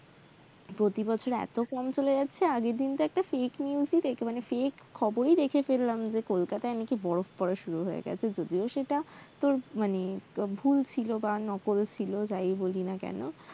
প্রতিবছর এতো চলে যাচ্ছে আগেরদিন তো একটা fake news ই দেখে মানে fake খবরই দেখে ফেললাম যে কোলকাতায় নাকি বরফ পড়া শুরু হয়ে গেছে যদিও সেটা মানি ভুল ছিল বা নকল ছিল যাই বলিনা কেন